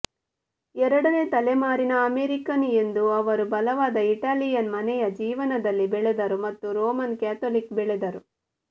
ಎರಡನೇ ತಲೆಮಾರಿನ ಅಮೇರಿಕನ್ ಎಂದು ಅವರು ಬಲವಾದ ಇಟಾಲಿಯನ್ ಮನೆಯ ಜೀವನದಲ್ಲಿ ಬೆಳೆದರು ಮತ್ತು ರೋಮನ್ ಕ್ಯಾಥೊಲಿಕ್ ಬೆಳೆದರು